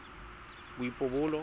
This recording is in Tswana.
boipobolo